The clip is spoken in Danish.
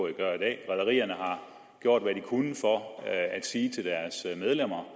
at gøre i dag rederierne har gjort hvad de kunne for at sige til deres medlemmer